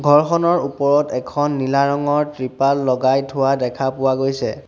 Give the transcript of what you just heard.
ঘৰখনৰ ওপৰত এখন নীলা ৰঙৰ তৃপাল লগাই থোৱা দেখা পোৱা গৈছে।